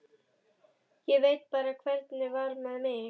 Ég veit bara hvernig var með mig.